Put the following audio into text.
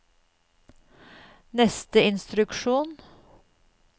neste instruksjon